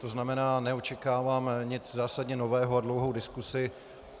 To znamená, neočekávám nic zásadně nového a dlouhou diskusi.